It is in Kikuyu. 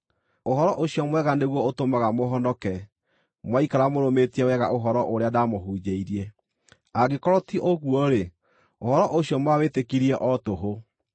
Ũhoro ũcio mwega nĩguo ũtũmaga mũhonoke, mwaikara mũrũmĩtie wega ũhoro ũrĩa ndaamũhunjĩirie. Angĩkorwo ti ũguo-rĩ, ũhoro ũcio mwawĩtĩkirie o tũhũ.